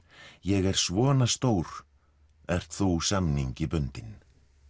ég er svona stór ert þú samningi bundinn